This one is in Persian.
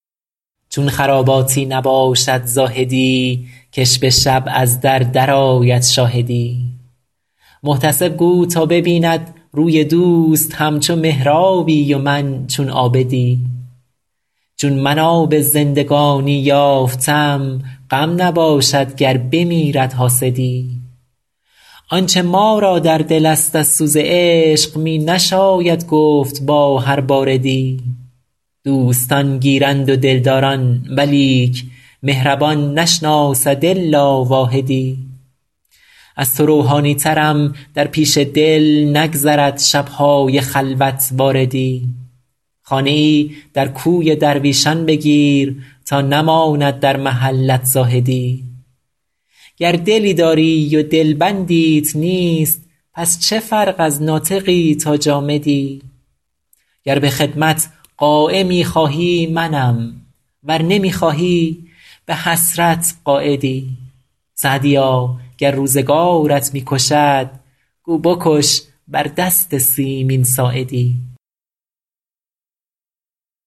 چون خراباتی نباشد زاهدی که ش به شب از در درآید شاهدی محتسب گو تا ببیند روی دوست همچو محرابی و من چون عابدی چون من آب زندگانی یافتم غم نباشد گر بمیرد حاسدی آنچه ما را در دل است از سوز عشق می نشاید گفت با هر باردی دوستان گیرند و دلداران ولیک مهربان نشناسد الا واحدی از تو روحانی ترم در پیش دل نگذرد شب های خلوت واردی خانه ای در کوی درویشان بگیر تا نماند در محلت زاهدی گر دلی داری و دلبندیت نیست پس چه فرق از ناطقی تا جامدی گر به خدمت قایمی خواهی منم ور نمی خواهی به حسرت قاعدی سعدیا گر روزگارت می کشد گو بکش بر دست سیمین ساعدی